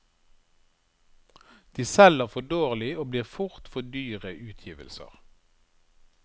De selger for dårlig og blir fort for dyre utgivelser.